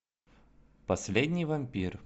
последний вампир